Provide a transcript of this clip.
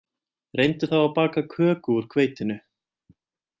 Reyndu þá að baka köku úr hveitinu